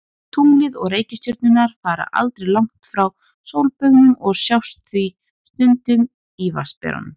Tunglið og reikistjörnurnar fara aldrei langt frá sólbaugnum og sjást því stundum í Vatnsberanum.